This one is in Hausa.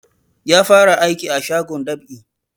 Ya fara aiki a shagon dab'i